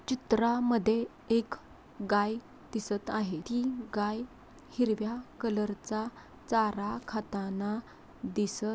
चित्रा मध्ये एक गाय दिसत आहे. ती गाय हिरव्या कलर च चारा खाताना दिसत--